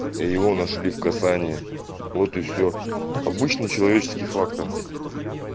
его нашли в касание вот и все обычный человеческий фактор